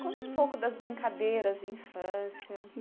conta um pouco das brincadeiras de infância?